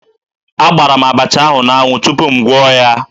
Akpara m abacha ahụ n'anwụ tupu m gwọọ ya